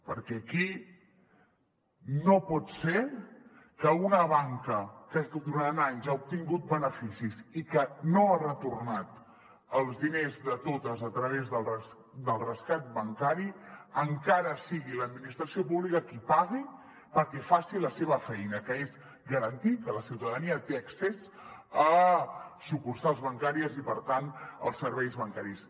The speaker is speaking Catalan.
perquè aquí no pot ser que una banca que durant anys ha obtingut beneficis i que no ha retornat els diners de totes a través del rescat bancari encara sigui l’admi·nistració pública qui pagui perquè faci la seva feina que és garantir que la ciutada·nia té accés a sucursals bancàries i per tant als serveis bancaris